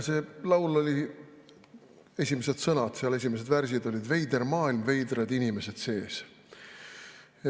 Selle laulu esimesed sõnad, esimesed värsid olid "Veider maailm, veidrad inimesed sees".